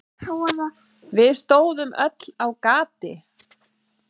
Við stóðum öll á gati.